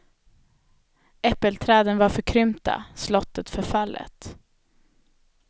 Äppelträden var förkrympta, slottet förfallet.